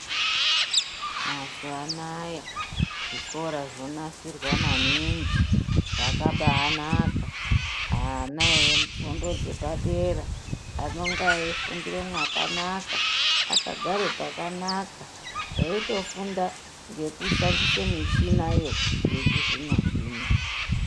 Mazuwa anaya zvikora zvonasirwa maningi zvakabaanaka. Ana efundo dzepadera vanonge eifundira mwakanaka akagare pakanaka eitofunda ngekushandisa muchiniyo yechizvino zvino.